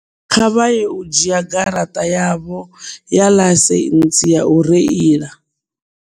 Kha vha ye u dzhia garaṱa yavho ya ḽaisentsi ya u reila.